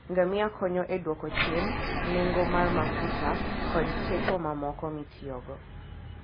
Ngamia konyo e dwoko chien nengo mar mafuta koda teko mamoko mitiyogo.